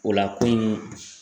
O la kunun